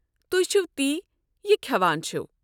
تُہۍ چھِوٕ تی یہِ كھٮ۪وان چھِوٕ۔